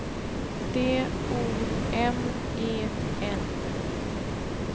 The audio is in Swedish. D O M E N